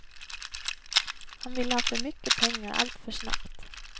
Han ville ha för mycket pengar alltför snabbt.